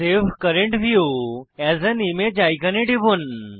save current view as an image আইকনে টিপুন